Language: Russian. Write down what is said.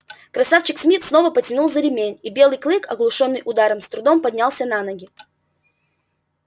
красавчик смит снова потянул за ремень и белый клык оглушённый ударом с трудом поднялся на ноги